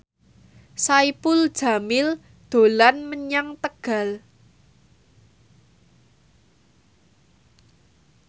Saipul Jamil dolan menyang Tegal